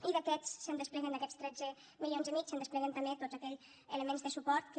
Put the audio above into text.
i d’aquests se’n despleguen d’aquests tretze milions i mig se’n despleguen també tots aquells elements de suport que